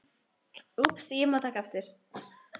Það sást ekki almennilega framan í